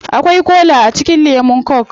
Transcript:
Akwai kola a cikin lemun coke